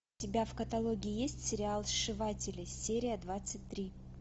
у тебя в каталоге есть сериал сшиватели серия двадцать три